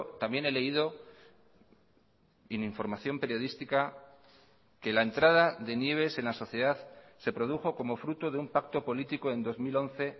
también he leído en información periodística que la entrada de nieves en la sociedad se produjo como fruto de un pacto político en dos mil once